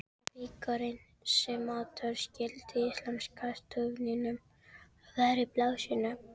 Jarðvegurinn, sem áður skýldi íslenska stofninum, væri blásinn upp.